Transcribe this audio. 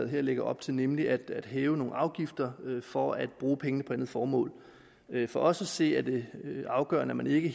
her lægger op til nemlig at hæve nogle afgifter for at bruge pengene på et andet formål for os at se er det afgørende at man ikke